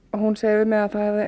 hún segir við mig